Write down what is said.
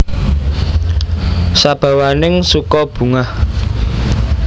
Sabawaning suka bungah